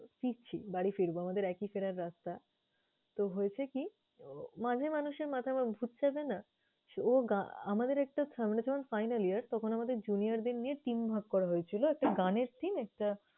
ফিরছি, বাড়ি ফিরবো আমাদের একই ফেরার রাস্তা। তো হয়েছে কি? মাঝে মানুষের মাথায় ভূত চাপে না? আমাদের একটা সামনে যেমন final year তখন আমাদের junior দের নিয়ে team ভাগ করা হয়েছিলো। একটা গানের team, একটা